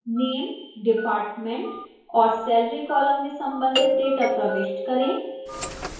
name department और salary columns में संबंधित data प्रविष्ट करें